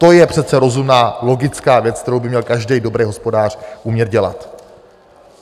To je přece rozumná, logická věc, kterou by měl každý dobrý hospodář umět dělat.